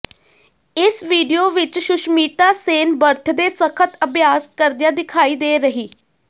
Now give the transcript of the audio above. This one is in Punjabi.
ਇਸ ਵੀਡੀਓ ਵਿੱਚ ਸੁਸ਼ਮਿਤਾ ਸੇਨ ਬਰਥਡੇ ਸਖਤ ਅਭਿਆਸ ਕਰਦਿਆਂ ਦਿਖਾਈ ਦੇ ਰਹੀ